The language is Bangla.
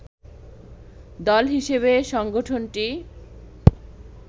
দল হিসেবে সংগঠনটি